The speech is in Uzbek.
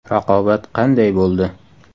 Raqobat qanday bo‘ldi?